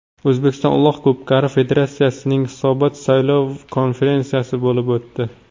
O‘zbekiston Uloq ko‘pkari federatsiyasining hisobot-saylov konferensiyasi bo‘lib o‘tdi.